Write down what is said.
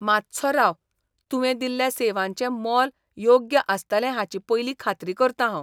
मात्सो राव, तुवें दिल्ल्या सेवांचें मोल योग्य आसतलें हाची पयलीं खात्री करतां हांव.